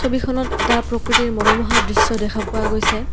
ছবিখনত এটা প্ৰকৃতিৰ মনোমোহা দৃশ্য দেখা পোৱা গৈছে।